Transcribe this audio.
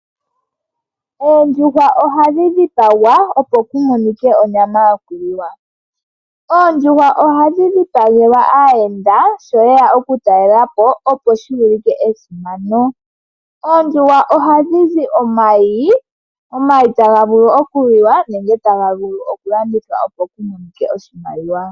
Oondjuhwa ohadhi dhipagwa opo ku monike onyama yoku liwa. Oondjuhwa ohadhi dhipagelwa aayenda sho yeya oku talelapo opo shi ulike esimano. Oondjuhwa ohadhi zi omayi. Omayi taga vulu oku liwa nenge taga vulu oku landithwa opo ku monike oshimaliwa.